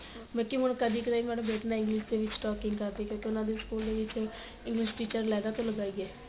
ਬਾਲਕੀ ਹੁਣ ਕਦੀ ਕਦਾਈ madam ਬੱਚੇ ਨਾ English ਦੇ ਵਿੱਚ talking ਕਰਦੇ ਕਿਉਂ ਕਿ ਉਹਨਾ ਦੀ school ਵਿੱਚ English teacher ਲੈਦਾ ਤੋਂ ਲਗਾਈ ਗਈ ਏ